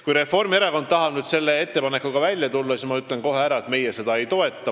Kui Reformierakond tahab selle ettepanekuga välja tulla, siis ma ütlen kohe ära, et meie seda ei toeta.